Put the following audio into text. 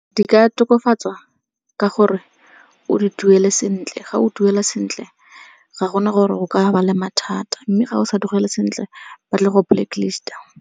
Di ka tokafatswa ka gore o di duele sentle, ga o duela sentle ga gona gore o ka ba le mathata. Mme ga o sa duele sentle ba tla go blacklist-a.